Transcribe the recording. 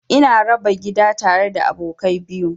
Ina raba gida tare da abokai biyu.